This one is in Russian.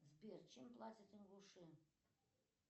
сбер чем платят ингуши